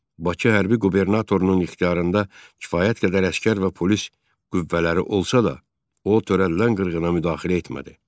Bakı hərbi qubernatorunun ixtiyarında kifayət qədər əsgər və polis qüvvələri olsa da, o törədilən qırğına müdaxilə etmədi.